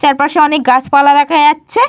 চারপাশে অনেক গাছ পালা দেখা যাচ্ছে।